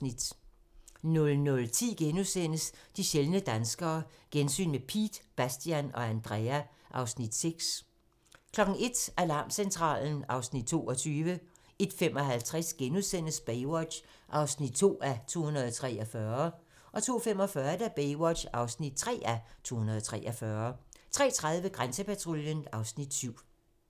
00:10: De sjældne danskere - gensyn med Piet, Bastian og Andrea (Afs. 6)* 01:00: Alarmcentralen (Afs. 22) 01:55: Baywatch (2:243)* 02:45: Baywatch (3:243) 03:30: Grænsepatruljen (Afs. 7)